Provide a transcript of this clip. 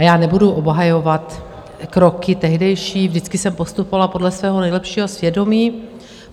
A já nebudu obhajovat kroky tehdejší, vždycky jsem postupovala podle svého nejlepšího svědomí.